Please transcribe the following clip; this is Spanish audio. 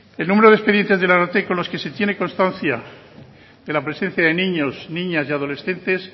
el número de expedientes del ararteko en los que se tiene constancia de la presencia de niños niñas y adolescentes